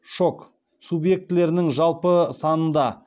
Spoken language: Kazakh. шок субъектілерінің жалпы санында